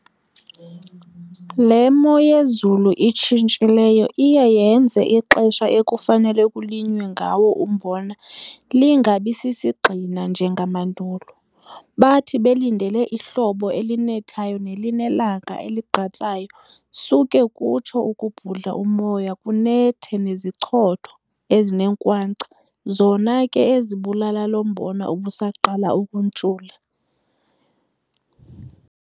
Le moyezulu itshintshileyo iye yenze ixesha ekufanele kulinywe ngawo umbona lingabi sisigxina njengamandulo. Bathi belindele ihlobo elinethayo nelinelanga eligqatsayo suke kutsho ukubhudla umoya kunethe nezichotho ezinenkwankca zona ke ezibulala lombona ubusaqala ukuntshula.